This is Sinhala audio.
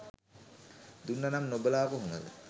දුන්න නම් නොබලා කොහොමද.